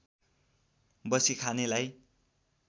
बसी खानेलाई